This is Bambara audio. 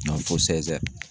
fo